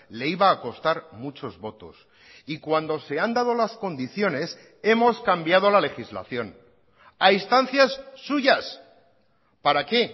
le iba a costar muchos votos y cuando se han dado las condiciones hemos cambiado la legislación a instancias suyas para qué